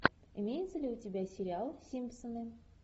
имеется ли у тебя сериал симпсоны